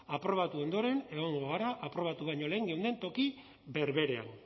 aprobatu ondoren egongo gara aprobatu baino lehen geunden toki berberean